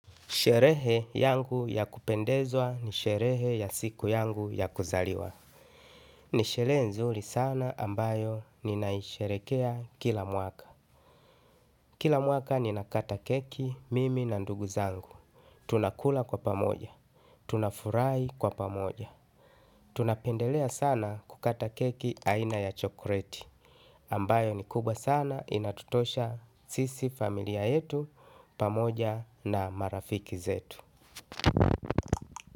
Sherehe yangu ya kupendeza ni sherehe ya siku yangu ya kuzaliwa. Ni sherehe nzuri sana ambayo ninaisherehekea kila mwaka. Kila mwaka ninakata keki, mimi na ndugu zangu. Tunakula kwa pamoja. Tunafurahi kwa pamoja. Tunapendelea sana kukata keki aina ya chokoleti. Ambayo ni kubwa sana, inatutosha sisi familia yetu, pamoja na marafiki zetu.